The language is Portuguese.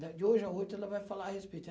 né. De hoje a oito, ela vai falar a respeito.